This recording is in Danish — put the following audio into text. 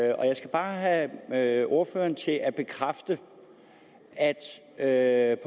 jeg skal bare have have ordføreren til at bekræfte at at